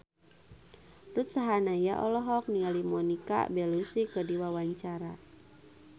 Ruth Sahanaya olohok ningali Monica Belluci keur diwawancara